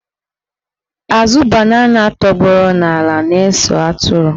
Azụ banana tọgbọrọ n'ala na-ese atụrụ.